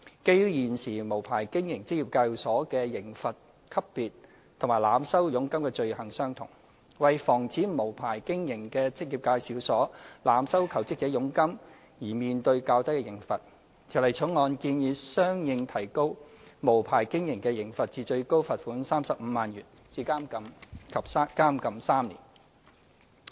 基於現時無牌經營職業介紹所的刑罰級別與濫收佣金的罪行相同，為防止無牌經營的職業介紹所濫收求職者佣金而面對較低的刑罰，《條例草案》建議相應提高無牌經營的刑罰至最高罰款35萬元及監禁3年。